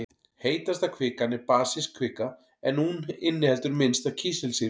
Heitasta kvikan er basísk kvika en hún inniheldur minnst af kísilsýru.